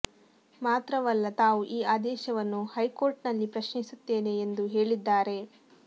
ಮಾತ್ರವಲ್ಲ ತಾವು ಈ ಆದೇಶವನ್ನು ಹೈಕೋರ್ಟ್ ನಲ್ಲಿ ಪ್ರಶ್ನಿಸುತ್ತೇನೆ ಎಂದು ಹೇಳಿದ್ದಾರೆ